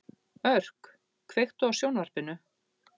Örk, kveiktu á sjónvarpinu.